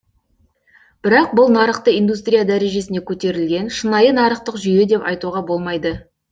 бірақ бұл нарықты индустрия дәрежесіне көтерілген шынайы нарықтық жүйе деп айтуға болмайды